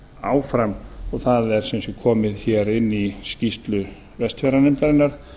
áfram og það er sem sé komið hér inn í skýrslu vestfjarðanefndarinnar